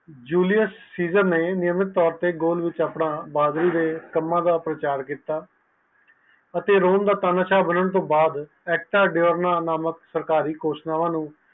ਉਣੀਓਂ ਸੀਸਨ ਨੇ ਉਦੇ ਵਿਚ ਆਪਣਾ ਬਹਾਦੁਰੀ ਦਾ ਪ੍ਰਚਾਰ ਕੀਤਾ ਅਤੇ ਰੋਂ ਤਾ ਤਾਣਾ ਸ਼ਾਨਆ ਬਣਨ ਤੋਂ ਬਾਅਦ ਸਰਕਾਰੀ ਘੋਸ਼ਣਾਵਾਂ ਨੂੰ